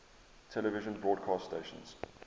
television broadcast stations